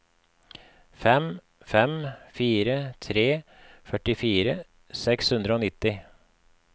fem fem fire tre førtifire seks hundre og nitti